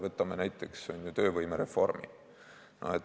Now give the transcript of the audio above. Võtame näiteks töövõimereformi.